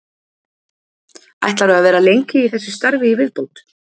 Ætlarðu að vera lengi í þessu starfi í viðbót?